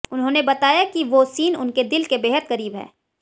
उन्होंने बताया कि वो सीन उनके दिल के बेहद करीब है